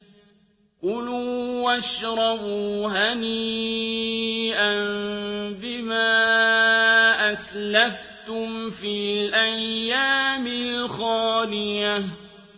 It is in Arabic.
كُلُوا وَاشْرَبُوا هَنِيئًا بِمَا أَسْلَفْتُمْ فِي الْأَيَّامِ الْخَالِيَةِ